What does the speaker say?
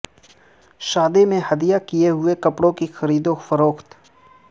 شادی میں ہدیہ کئے ہوئے کپڑے کی خرید و فروخت